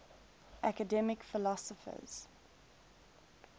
academic philosophers